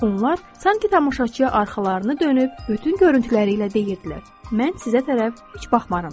Onlar sanki tamaşaçıya arxalarını dönüb bütün görüntüləri ilə deyirdilər: Mən sizə tərəf heç baxmaram da.